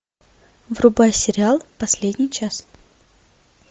врубай сериал последний час